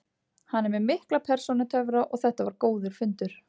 Hann er með mikla persónutöfra og þetta var góður fundur.